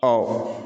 Ɔ